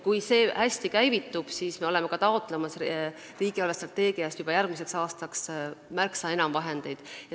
Kui see hästi käivitub, siis me taotleme riigi eelarvestrateegiast juba järgmiseks aastaks märksa enam vahendeid.